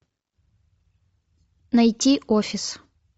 найти офис